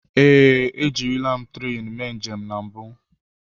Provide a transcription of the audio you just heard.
Ee, ejirila m tren mee njem na mbụ.